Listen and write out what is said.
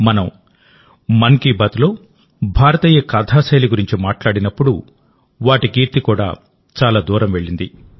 మనంమన్ కీ బాత్లో భారతీయ కథా శైలి గురించి మాట్లాడినప్పుడువాటి కీర్తి కూడా చాలా దూరం వెళ్ళింది